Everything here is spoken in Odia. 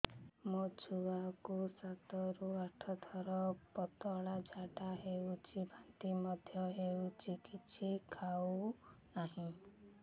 ମୋ ଛୁଆ କୁ ସାତ ରୁ ଆଠ ଥର ପତଳା ଝାଡା ହେଉଛି ବାନ୍ତି ମଧ୍ୟ୍ୟ ହେଉଛି କିଛି ଖାଉ ନାହିଁ